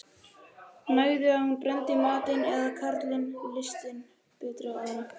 Nægði að hún brenndi við matinn eða að karlinum litist betur á aðra.